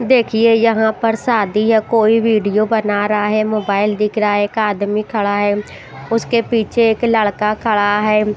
देखिए यहां पर शादी है। कोई वीडियो बना रहा है। मोबाइल दिख रहा है एक आदमी खड़ा है उसके पीछे एक लड़का खड़ा है।